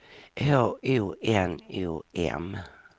H O N O M